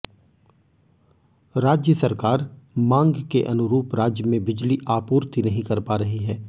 राज्य सरकार मांग के अनुरूप राज्य में बिजली आपूर्ति नहीं कर पा रही है